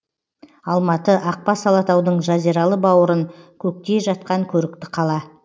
алматы ақбас алатаудың жазиралы бауырын көктей жатқан көрікті қала